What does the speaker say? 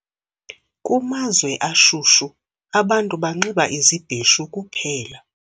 Kumazwe ashushu abantu banxiba izibheshu kuphela